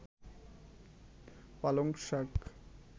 পালং শাক